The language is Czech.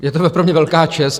Je to pro mě velká čest...